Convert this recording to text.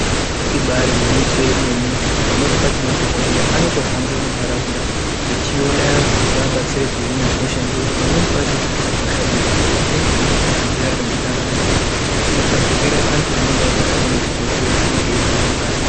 Ibari gwinyiso remene pamweni pacho madhokoteya anotohamba munharaunda echiona anhu kuti avabatsire kuhina hosha nekuti pamweni pacho hosha idzi dzinenge dzichitoda kuhambira nemunharaunda kuti dzisatapukira anhu anenge agara arimuchibhehleya anenge agara achirwara kare